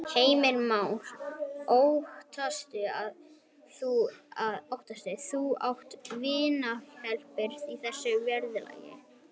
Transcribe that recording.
Heimir Már: Óttast þú að atvinnulífið hleypir þessu út í verðlagið?